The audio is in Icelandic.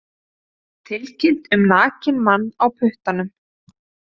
Tilkynnt um nakinn mann á puttanum